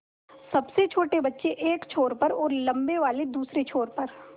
सबसे छोटे बच्चे एक छोर पर और लम्बे वाले दूसरे छोर पर